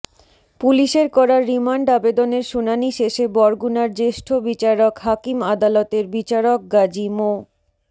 পুলিশের করা রিমান্ড আবেদনের শুনানি শেষে বরগুনার জ্যেষ্ঠ বিচারিক হাকিম আদালতের বিচারক গাজী মো